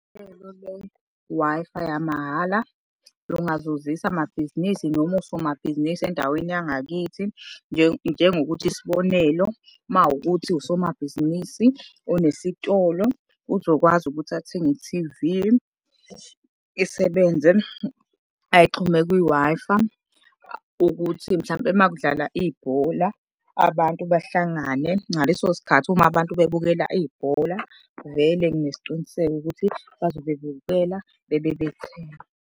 Uhlelo le-Wi-Fi yamahhala lungazuzisa amabhizinisi noma osomabhizinisi endaweni yangakithi, njengokuthi isibonelo makuwukuthi usomabhizinisi onesitolo, uzokwazi ukuthi athenge i-T_V. Isebenze, ayixhume kwi-Wi-Fi, ukuthi mhlampe uma kudlala ibhola, abantu bahlangane ngaleso sikhathi, uma abantu bebukela ibhola vele nginesiqiniseko ukuthi bazobe bebukela bebe bethenga.